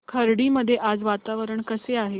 खर्डी मध्ये आज वातावरण कसे आहे